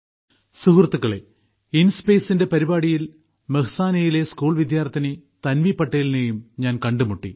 സുഹൃത്തുക്കളേ ഇൻസ്പേസിന്റെ പരിപാടിയിൽ മെഹ്സാനയിലെ സ്കൂൾ വിദ്യാർത്ഥിനി തൻവി പട്ടേലിനെയും ഞാൻ കണ്ടുമുട്ടി